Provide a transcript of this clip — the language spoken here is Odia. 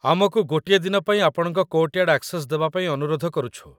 ଆମକୁ ଗୋଟିଏ ଦିନ ପାଇଁ ଆପଣଙ୍କ କୋର୍ଟ୍‌ୟାର୍ଡ୍‌ ଆକ୍ସେସ୍ ଦେବା ପାଇଁ ଅନୁରୋଧ କରୁଛୁ ।